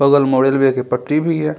बगल में रेलवे के पटरी भी है।